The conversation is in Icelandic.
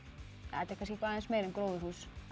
þetta er kannski eitthvað aðeins meira en gróðurhús